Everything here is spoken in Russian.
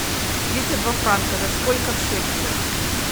тридцать два франка это сколько в шекелях